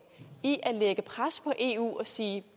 i at lægge pres på eu og sige